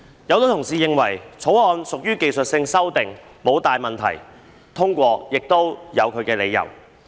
有很多同事認為《條例草案》屬技術性修訂，沒有大問題，通過是合理的。